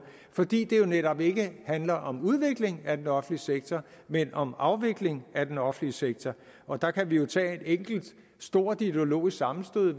fordi de jo netop ikke handler om udvikling af den offentlige sektor men om afvikling af den offentlige sektor og der kan vi jo tage et enkelt stort ideologisk sammenstød